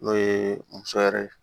N'o ye muso yɛrɛ ye